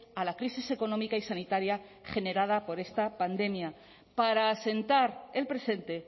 a la crisis económica y sanitaria generada por esta pandemia para asentar el presente